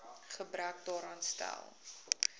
gebrek daaraan stel